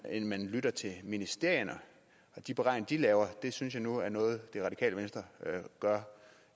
end man lytter til ministerierne og de beregninger de laver det synes jeg nu er noget det radikale venstre gør